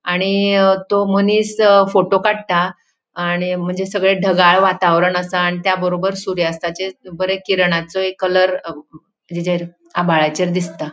आणि अ तो मनिस फोटो काढता आणि म्हणजे सगळे ढगाळ वातावरण असा आणि त्या बरोबर सुर्यास्ताचे बरे किरणाचोंय कलर अ हिजेर आभाळाचेर दिसता.